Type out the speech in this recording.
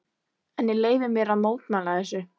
En ég leyfi mér að mótmæla þessu.